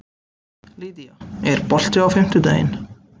Lýdía, er bolti á fimmtudaginn?